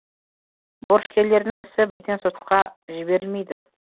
борышкерлердің ісі бірден сотқа жіберілмейді